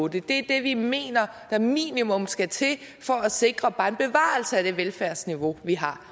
det er det vi mener der minimum skal til for at sikre bare en bevarelse af det velfærdsniveau vi har